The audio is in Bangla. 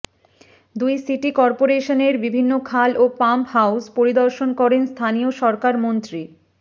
দুই সিটি করপোরেশনের বিভিন্ন খাল ও পাম্প হাউজ পরিদর্শন করেন স্থানীয় সরকার মন্ত্রী